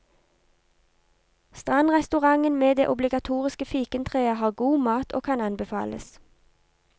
Strandrestauranten med det obligatoriske fikentreet har god mat og kan anbefales.